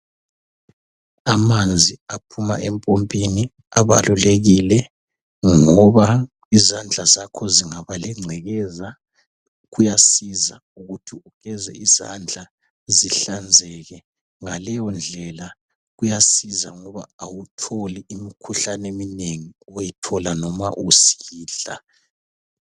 Amanzi aphuma empompini abalulekile ngoba izandla zakho zingaba lengcekeza kuyasiza ukuthi ugeze izandla zihlanzeke. Ngaleyondlela kuyasiza ngoba awutholi imikhuhlane eminengi oyithola usidla.